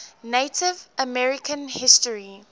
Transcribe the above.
native american history